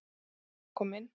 Ég var að koma inn